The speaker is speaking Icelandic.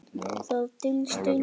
Það dylst engum.